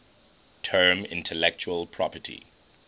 term intellectual property